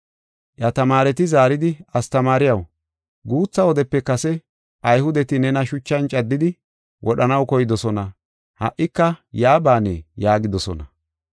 Iya tamaareti zaaridi, “Astamaariyaw, guutha wodepe kase Ayhudeti nena shuchan caddidi wodhanaw koydosona; ha77ika yaa baanee?” yaagidosona.